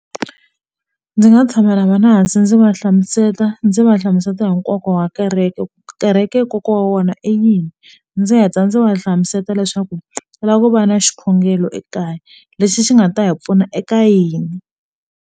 Ndzi nga tshama na vona hansi ndzi va hlamusela ndzi va hlamusela hi nkoka wa kereke ku kereke kokwana wa wena i yini ndzi heta ndzi va hlamusela leswaku u lava ku va na xikhongelo ekaya lexi xi nga ta hi pfuna eka yini.